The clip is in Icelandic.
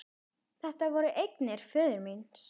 Þetta voru eignir föður míns.